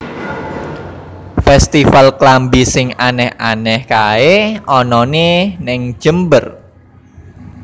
Festival klambi sing aneh aneh kae onone ning Jember